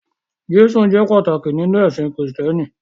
Jésù jẹ́ pàtàkì nínú ẹ̀sìn Kristẹni.